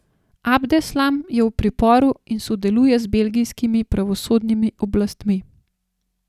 Abdeslam je v priporu in sodeluje z belgijskimi pravosodnimi oblastmi.